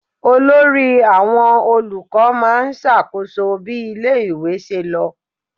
Olórí àwọn olùkọ́ máa ń ṣàkóso bí ilé-ìwé ṣe lọ.